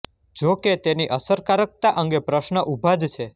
જો કે તેની અસરકારકતા અંગે પ્રશ્ન ઉભા જ છે